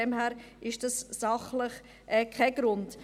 Deshalb ist das sachlich kein Grund.